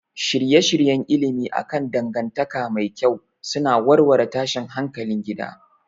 Shirye-shiryen ilimi akan dangantaka mai kyau suna warware tashin hankalin gida